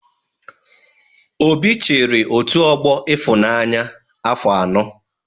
Obi chịrị otu ọgbọ Ịfụnanya afọ anọ.